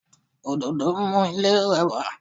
Òdòdó mú ilé rẹwà